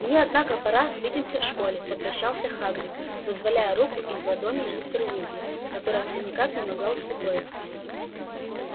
мне однако пора свидимся в школе попрощался хагрид вызволяя руку из ладоней мистера уизли которая всё никак не могла успокоиться